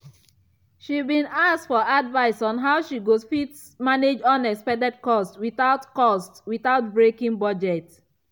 she been ask for advice on how she go fit manage unexpected cost without cost without breaking budget.